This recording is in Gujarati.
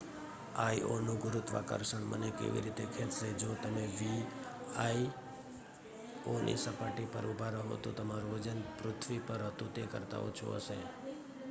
આઈઑનું ગુરુત્વાકર્ષણ મને કેવી રીતે ખેંચશે જો તમે આઈઑની સપાટી પર ઊભા રહો તો તમારું વજન પૃથ્વી પર હતું તે કરતા ઓછું હશે